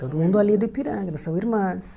Todo mundo ali é do Ipiranga, nós somos irmãs.